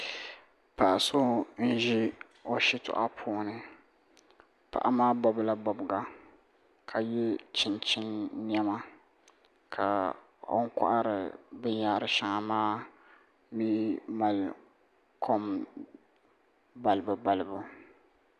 Paɣ' so n-ʒi o shitɔɣu puuni paɣa maa bɔbila bɔbiga ka ye chinchini nɛma ka o ni kɔhiri binyɛra shɛŋa maa mi mali kom balibubalibu